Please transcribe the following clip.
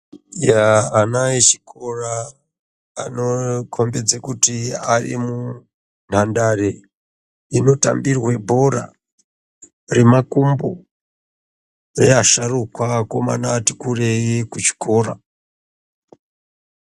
Ana echikora anokombedza kuti arimunhandare inotambirwe bhora remakumbo neasharukwa vakomana vati kureyi kuchikora.